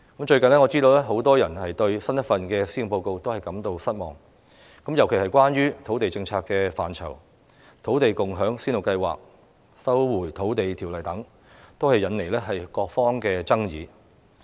最近，我知道很多人對新一份施政報告感到失望，尤其是關於土地政策的範疇：土地共享先導計劃、《收回土地條例》等，均引來各方爭議。